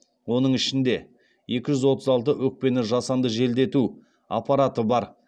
оның ішінде екі жүз отыз алты өкпені жасанды желдету аппараты бар